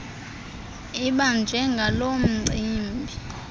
ibanjwe ngaloo mcimbi